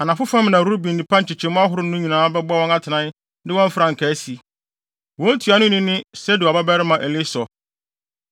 Anafo fam na Ruben nnipa nkyekyɛmu ahorow no nyinaa bɛbɔ wɔn atenae de wɔn frankaa asi. Wɔn ntuanoni ne Sedeur babarima Elisur.